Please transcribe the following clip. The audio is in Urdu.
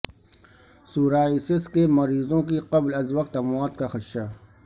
سورائسس کے مریضوں کی قبل از وقت اموات کا خدشہ